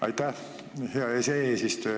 Aitäh, hea eesistuja!